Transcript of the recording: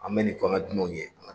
An bɛ nin f an ka ɔ dunanw ye.